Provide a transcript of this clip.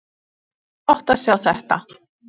Það var flott að sjá þetta.